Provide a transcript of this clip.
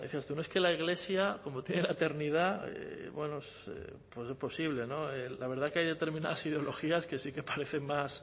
decía usted no es que la iglesia como tiene la eternidad bueno pues es posible no la verdad es que hay determinadas ideologías que sí que parecen más